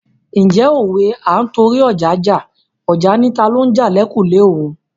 Ǹjẹ́ òwe "À ń torí ọja jà, ọja ni talo ń jà l'ẹ̀kùlé òun "?